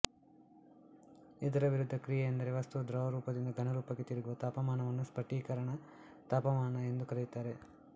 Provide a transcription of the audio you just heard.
ಇದರ ವಿರುದ್ಧ ಕ್ರಿಯೆ ಎಂದರೆ ವಸ್ತುವು ದ್ರವರೂಪದಿಂದ ಘನರೂಪಕ್ಕೆ ತಿರುಗುವ ತಾಪಮಾನವನ್ನು ಸ್ಪಟಿಕೀಕರಣ ತಾಪಮಾನ ಎಂದು ಕರೆಯುತ್ತಾರೆ